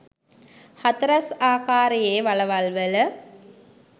හතරැස් ආකාරයේ වළවල් වල